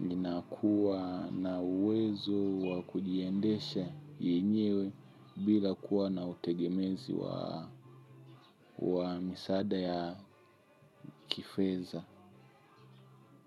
Ninakuwa na uwezo wakujiendesha yenyewe bila kuwa na utegemezi wa misaada ya kifeya kifedha.